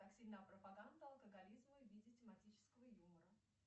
так сильна пропаганда алкоголизма в виде тематического юмора